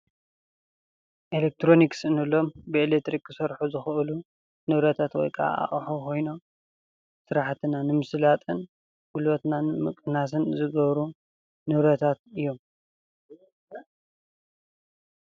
ኤሌክትሮኒክስ እንብሎም ብኤሌክትሪክ ክሰርሑ ዝኽእሉ ንብረታት ወይ ከዓ ኣቕሑ ኾይኖም ስራሕትና ንምስላጥን ጉልበትና ንምቕናስን ዝገብሩ ንብረታት እዮም፡፡